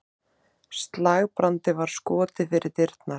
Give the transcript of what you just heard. Slagbrandi var skotið fyrir dyrnar.